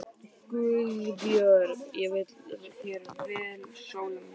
GUÐBJÖRG: Ég vil þér vel, Sóla mín.